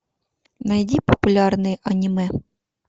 найди популярные аниме